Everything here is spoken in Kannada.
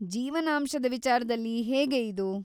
ಜೀವನಾಂಶದ ವಿಚಾರ್ದಲ್ಲಿ ಹೇಗೆ ಇದು?